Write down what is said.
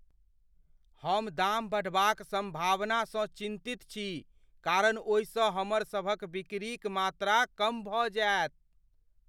हम दाम बढ़बाक सम्भावनासँ चिन्तित छी कारण ओहि सँ हमरसभक बिकरी क मात्रा कम भऽ जायत।